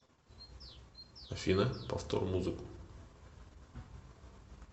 афина повтор музыку